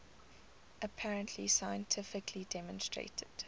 apparently scientifically demonstrated